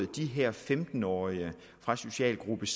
de her femten årige fra socialgruppe